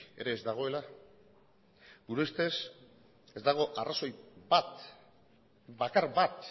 ere ez dagoela gure ustez ez dago arrazoi bat bakar bat